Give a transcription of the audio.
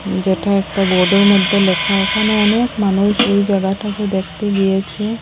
যেটা একটা বোর্ডের মদ্যে লেখা ওখানে অনেক মানুষ ওই জাগাটাকে দ্যাখতে গিয়েছে।